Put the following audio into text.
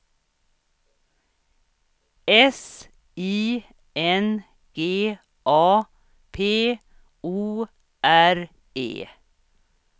S I N G A P O R E